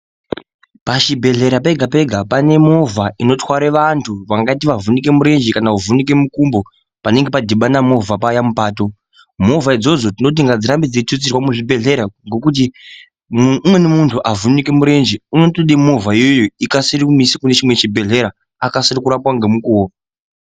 Pachibhedhlera pega-pega pane movha inotware vantu. Vangaite vavhunike murenje kana kuvhunike mukumbo panenge padhibana movha paya mupato. Movha idzodzo tinoti ngadzirambe dzeitutsirwa muzvibhedhlera umu ngokuti umweni muntu avhunike murenje unotode movha iyoyo, ikasire kumuise kune chimwe chibhehlera, akasire kurapwa ngemukuwo.